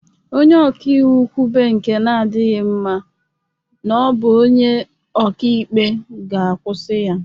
Onye ọka iwu kwube nke na-adịghị mma n'ọ bụ onye ọka ikpe ga-akwụsị ya.